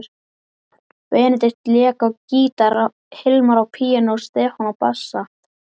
Benedikt lék á gítar, Hilmar á píanó, Stefán á bassa.